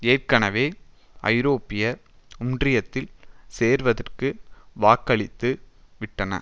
ஏற்கெனவே ஐரோப்பிய ஒன்றியத்தில் சேர்வதற்கு வாக்களித்துவிட்டன